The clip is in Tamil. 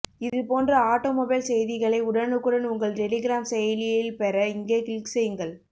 இது போன்ற ஆட்டோமொபைல் செய்திகளை உடனுக்குடன் உங்கள் டெலிகிராம் செயலியில் பெற இங்கே கிளிக் செய்யுங்கள்